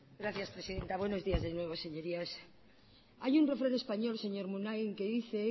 gracias presidenta buenos días de nuevo señorías hay un refrán español señor munain que dice